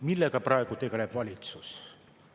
Millega valitsus praegu tegeleb?